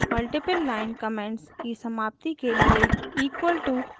multiple line comments की समाप्ति के लिए equal to end उपयोगी है